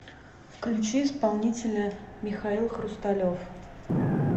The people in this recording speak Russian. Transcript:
включи исполнителя михаил хрусталев